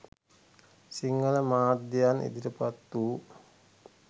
සිංහල මාධ්‍යයෙන් ඉදිරිපත් වූ